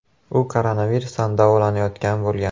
U koronavirusdan davolanayotgan bo‘lgan.